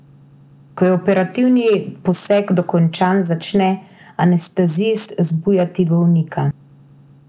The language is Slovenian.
Ko je operativni poseg dokončan, začne anestezist zbujati bolnika.